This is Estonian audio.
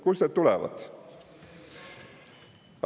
Kust need tulevad?